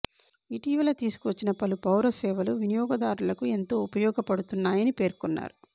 ఇటీవల తీసుకు వచ్చిన పలు పౌర సేవలు వినియోగదారులకు ఎంతో ఉపయోగపడుతున్నాయని పేర్కొన్నారు